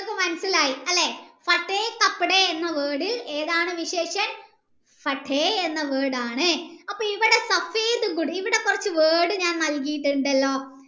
ഇങ്ങക് മനസിലായി അല്ലെ എന്ന word ഏതാണ് എന്ന word ആണ് അപ്പൊ ഇവിടെ ഇവിടെ കൊർച് word നല്കീട്ടുണ്ടല്ലോ